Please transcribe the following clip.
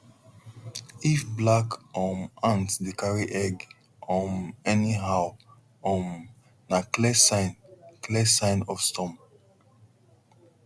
if black um ant dey carry egg um anyhow um na clear sign clear sign of storm